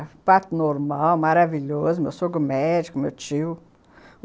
É, parto normal, maravilhoso, meu sogro médico, meu tio.